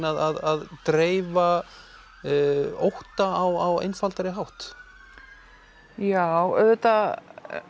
að dreifa ótta á einfaldari hátt já auðvitað